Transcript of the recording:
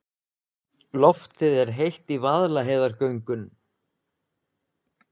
Loftið er heitt í Vaðlaheiðargöngum.